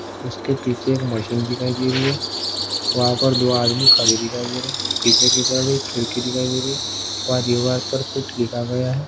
उसके पीछे एक मशीन दिखाई दे रही है वहाँ पर दो आदमी खड़े दिखाई दे रहे हैं पीछे की तरफ एक खिड़की दिखाई दे रही है और दीवार पर कुछ लिखा गया है।